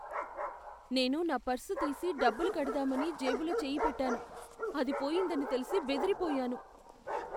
నేను నా పర్సు తీసి డబ్బులు కడదామని జేబులో చేయి పెట్టాను. అది పోయిందని తెలిసి బెదిరిపోయాను!